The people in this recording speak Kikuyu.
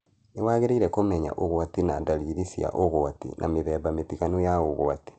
Nĩ wangĩrĩaire kũmenya ũgwati na dariri cia ũgwati na mĩthemba mĩtiganu ya ũgwati.